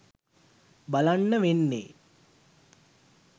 බලන්න වෙන්නේ.